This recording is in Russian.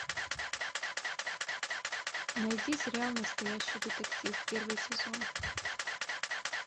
найди сериал настоящий детектив первый сезон